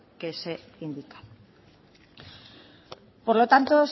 que se indican por lo tanto